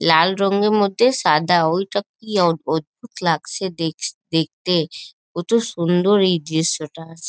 লাল রঙের মধ্যে সাদা ওইটা কি অদ অদ্ভুত লাগছে দেখচ দেখতে। কোতো সুন্দর এই দৃশ্যটা।